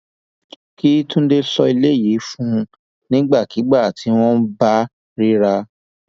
kí túnde sọ eléyìí fún un nígbàkigbà tí wọn bá ríra